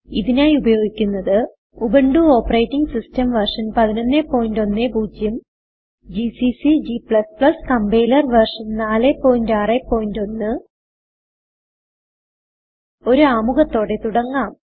ഇതിനായി ഉപയോഗിക്കുന്നത് Ubuntu operating system version 1110 GCC g compiler version 461 ഒരു ആമുഖത്തോടെ തുടങ്ങാം